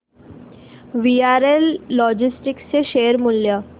VRL logistics चे share मूल्य